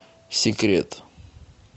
секрет